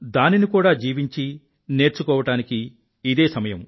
దానిని కూడా జీవించి నేర్చుకోవడానికీ ఇదే సమయం